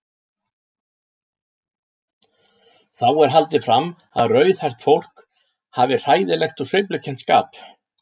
Þá er haldið fram að rauðhært fólk hafi hræðilegt og sveiflukennt skap.